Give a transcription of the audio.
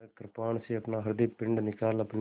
वह कृपाण से अपना हृदयपिंड निकाल अपने